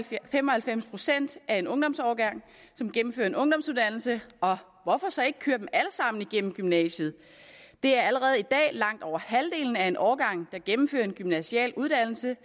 fem og halvfems procent af en ungdomsårgang gennemfører en ungdomsuddannelse og hvorfor så ikke køre dem alle sammen igennem gymnasiet det er allerede i dag langt over halvdelen af en årgang der gennemfører en gymnasial uddannelse